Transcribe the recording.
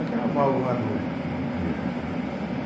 Aquela amálgama do do dente, né.